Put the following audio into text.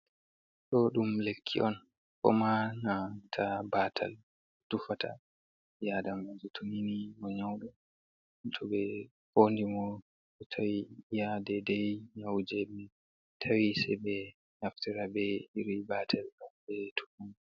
Ɗo dum lekki on ko ma nata batal tufata bii adamajo tonini mo nyaudo to ɓe fondi mo ta hade dei nyaujemi tawi, se be naftara be iri batal am be tukum.